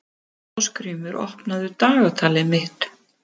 Ásgrímur, opnaðu dagatalið mitt.